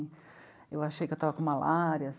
Eu achei que eu estava com malária.